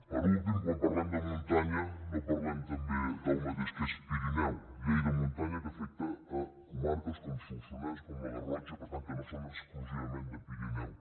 per últim quan parlem de muntanya no parlem també del mateix que és pirineu llei de muntanya que afecta comarques com solsonès com la garrotxa per tant que no són exclusivament de pirineu